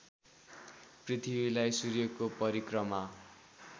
पृथ्वीलाई सूर्यको परिक्रमा